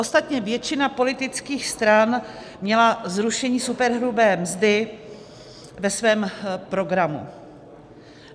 Ostatně většina politických stran měla zrušení superhrubé mzdy ve svém programu.